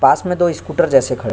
पास में दो स्कूटर जैसे खड़े --